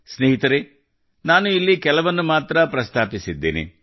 ಸ್ನೇಹಿತರೇ ನಾನು ಇಲ್ಲಿ ಕೆಲವನ್ನು ಮಾತ್ರ ಪ್ರಸ್ತಾಪಿಸಿದ್ದೇನೆ